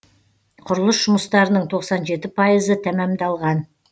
құрылыс жұмыстарының тоқсан жеті пайызы тәмамдалған